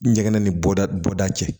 N ɲɛgɛn ni bɔda bɔda cɛ